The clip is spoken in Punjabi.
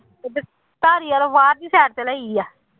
ਬਾਹਰ ਦੀ side ਤੇ ਲਈ ਆ